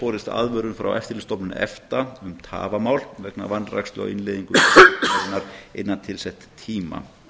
borist aðvörun frá eftirlitsstofnun efta um tafamál vegna vanrækslu á innleiðingu hennar innan tilsetts tíma